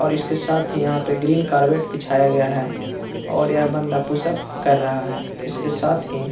और इसके साथ ही यहाँ पे ग्रीन कार्बेट बिछाया गया है और यह बंदा पुशअप कर रहा है और इसके साथ ही --